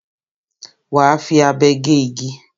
Wà á fi abe gé igi.